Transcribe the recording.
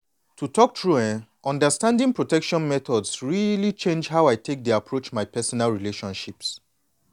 to talk true eh understanding protection methods really change how i take dey approach my personal relationships.